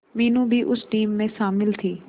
मीनू भी उस टीम में शामिल थी